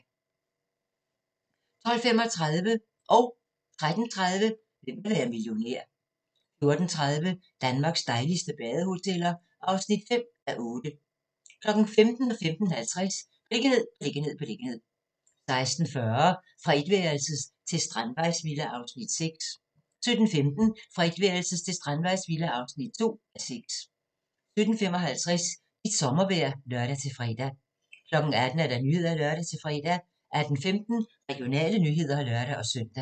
12:35: Hvem vil være millionær? 13:30: Hvem vil være millionær? 14:30: Danmarks dejligste badehoteller (5:8) 15:00: Beliggenhed, beliggenhed, beliggenhed 15:50: Beliggenhed, beliggenhed, beliggenhed 16:40: Fra etværelses til strandvejsvilla (1:6) 17:15: Fra etværelses til strandvejsvilla (2:6) 17:55: Dit sommervejr (lør-fre) 18:00: Nyhederne (lør-fre) 18:15: Regionale nyheder (lør-søn)